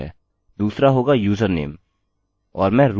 दूसरा होगा username और मैं root का उपयोग करूँगा